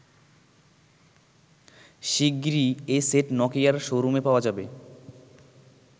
শিগগিরই এ সেট নোকিয়ার শো রুমে পাওয়া যাবে।